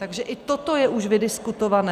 Takže i toto je už vydiskutované.